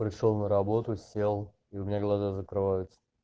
пришёл на работу сел и у меня глаза закрываются